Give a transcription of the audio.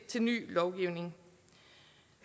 til ny lovgivning